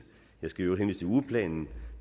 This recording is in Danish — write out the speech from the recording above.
jeg skal i øvrigt ugeplanen